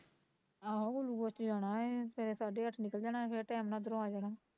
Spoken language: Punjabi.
ਆਹੋ glucose ਤੇ ਜਾਣਾ ਐ ਸਵੇਰੇ ਸਾਢੇ ਅੱਠ ਨਿਕਲ ਜਣਾ ਫੇਰ ਟੈਮ ਨਾਲ਼ ਉਧਰੋਂ ਆ ਜਾਣਾ